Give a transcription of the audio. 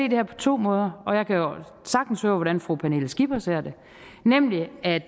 her på to måder og jeg kan jo sagtens høre hvordan fru pernille skipper ser det nemlig at